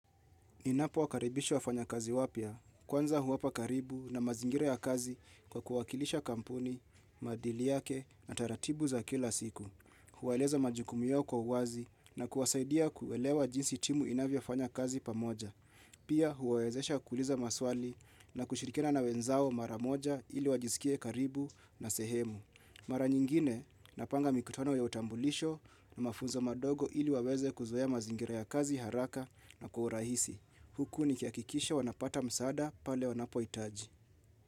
Ninapo wakaribisha wafanya kazi wapya, kwanza huwapa karibu na mazingira ya kazi kwa kuwakilisha kampuni, maadili yake na taratibu za kila siku. Huwaeleza majukumu yao kwa uwazi na kuwasaidia kuelewa jinsi timu inavyafanya kazi pamoja. Pia huwaezesha kuliza maswali na kushirikina na wenzao maramoja ili wajisikie karibu na sehemu. Mara nyingine napanga mikutano ya utambulisho na mafunza madogo ili waweze kuzoea mazingira ya kazi haraka na kwa urahisi. Huku nikihakikisha wanapata msaada pale wanapoitaji.